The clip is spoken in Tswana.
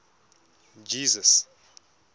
jesus